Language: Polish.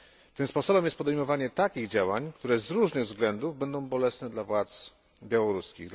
Tym sposobem jest podejmowanie takich działań, które z różnych względów będą bolesne dla władz białoruskich.